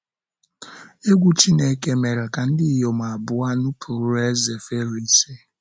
Egwú Chineke mere ka ndị inyom abụọ nupụrụ ezé Fero isi.